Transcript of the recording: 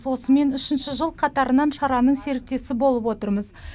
осымен үшінші жыл қатарынан шараның серіктесі болып отырмыз